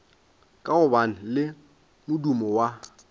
ka gobane le modumo wa